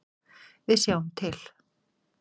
Við sjáum til.